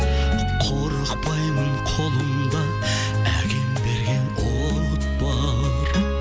қорықпаймын қолымда әкем берген от бар